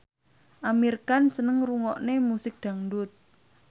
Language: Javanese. Amir Khan seneng ngrungokne musik dangdut